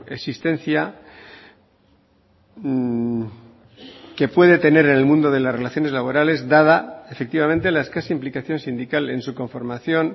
existencia que puede tener en el mundo de las relaciones laborales dada efectivamente la escasa implicación sindical en su conformación